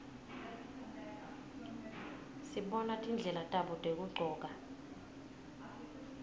sibona tindlela tabo tekugcoka